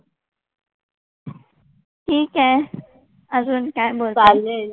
ठीक आहे अजून काय बोलते?